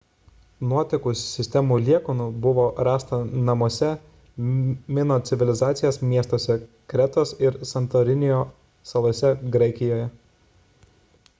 nuotekų sistemų liekanų buvo rasta namuose mino civilizacijos miestuose kretos ir santorinio salose graikijoje